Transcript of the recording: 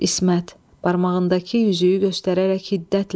İsmət, barmağındakı üzüyü göstərərək hiddətlə.